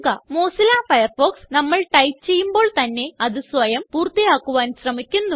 Mozilla Firefox നമ്മൾ type ചെയ്യുമ്പോള് തന്നെ അത് സ്വയം പൂർത്തിയാക്കുവാൻ ശ്രമിക്കുന്നു